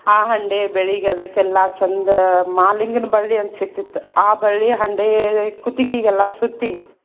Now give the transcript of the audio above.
ಆ ಹಂಡೆ ಬೆಳ್ಗಿ ಅದಕೆಲ್ಲಾ ಚಂದ ಮಾಲಿಂಗನ್ ಬಳ್ಳಿ ಅಂತ ಸಿಗ್ತಿತ್ತ್ ಆ ಬಳ್ಳಿ ಹಂಡೆ ಕುತ್ತಿಗೆಗೆಲ್ಲಾ ಸುತ್ತಿ.